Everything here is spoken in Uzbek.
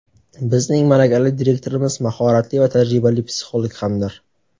Bizning malakali direktorimiz mahoratli va tajribali psixolog hamdir.